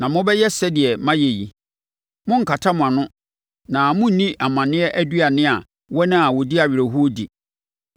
Na mobɛyɛ sɛdeɛ mayɛ yi: morenkata mo ano na morenni amanneɛ aduane a wɔn a wɔdi awerɛhoɔ di.